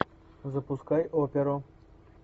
запускай оперу